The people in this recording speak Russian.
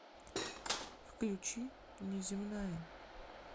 включи неземная